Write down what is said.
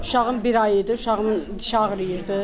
Uşağım bir ay idi, uşağımın dişi ağrıyırdı.